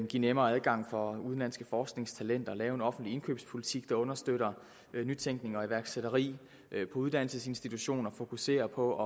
give nemmere adgang for udenlandske forskningstalenter lave en offentlig indkøbspolitik der understøtter nytænkning og iværksætteri på uddannelsesinstitutioner fokusere på